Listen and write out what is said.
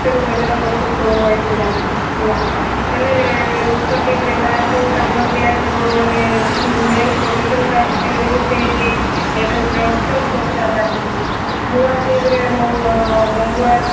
ପକ୍ଷରୁ ଯୋଜନା ପ୍ରସ୍ତୁତ ହେଇଥିଲା ହେଲା ହେଲେ ଉକ୍ତ team ରେ କାହାକୁ ସ୍ଥାନ ଦିଆଯିବ ମାନେ main position କାହାକୁ ଦିଆଯିବ ସେ ନେଇ ଏବେ ଜୋର ସୋର ଚର୍ଚ୍ଚା ଚାଲିଛି ନୂଆ team ରେ ମାଙ୍ଗୁଆଳ